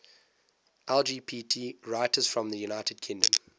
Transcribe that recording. lgbt writers from the united kingdom